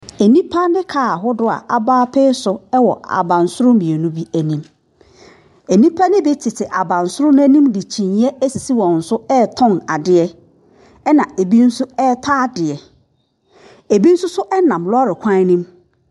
Nnipa ne kaa ahodoɔ a abɔ apee so wɔ abansoro mmienu bi anim. Nnipa no bi tete abansoro no anim de kyiniiɛ asisi wɔn so retɔn adeɛ, ɛnna ebi nso retɔ adeɛ. Ebi nso so nam lɔre kwan no mu.